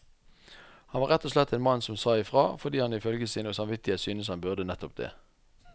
Han var rett og slett en mann som sa ifra, fordi han ifølge sin samvittighet syntes han burde nettopp det.